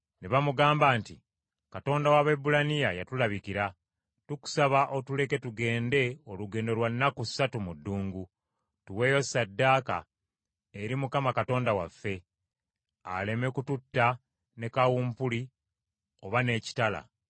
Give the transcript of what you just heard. Ne bamugamba nti, “Katonda w’Abaebbulaniya yatulabikira. Tukusaba otuleke tugende olugendo lwa nnaku ssatu mu ddungu, tuweeyo ssaddaaka eri Mukama Katonda waffe; aleme kututta ne kawumpuli, oba n’ekitala.”